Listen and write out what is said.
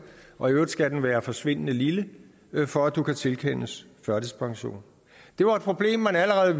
og i øvrigt skal den være forsvindende lille for at du kan tilkendes førtidspension det var et problem man allerede